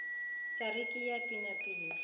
sa re ke a penapena